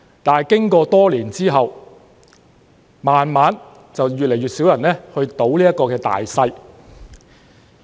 可是，經過多年後，逐漸越來越少人"賭大細"。